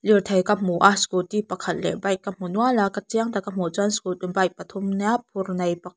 lirthei ka hmu a scooty pakhat leh bike ka hmu nual a ka chiang taka hmuh chuan scooty bike pathum a nia phur nei pa --